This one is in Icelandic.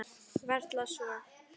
Varla svo.